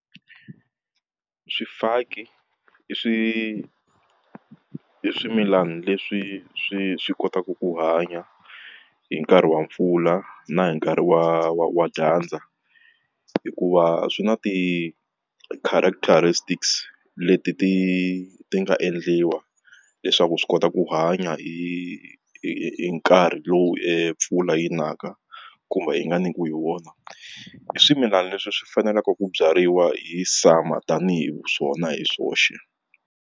Swifaki i swi swimilani leswi swi swi kotaka ku hanya hi nkarhi wa mpfula na hi nkarhi wa wa wa dyandza hikuva swi na ti-characteristics leti ti ti nga endliwa leswaku swi kota ku hanya hi hi nkarhi lowu hi mpfula yi naka kumbe yi nga nyikiwi hi wona swimilani leswi swi faneleke ku byariwa hi summer tanihi swona hi swoxe.